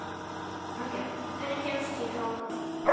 Angela, hvernig kemst ég þangað?